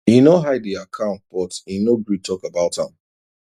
e no hide the accountbut e no gree talk about am